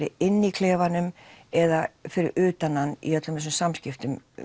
inni í klefanum eða fyrir utan hann í öllum þessum samskiptum